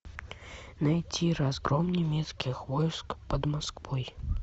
найти разгром немецких войск под москвой